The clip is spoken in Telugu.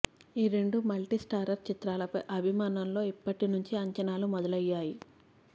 ఈ రెండు మల్టి స్టారర్ చిత్రాలపై అభిమానుల్లో ఇప్పటి నుంచే అంచనాలు మొదలయ్యాయి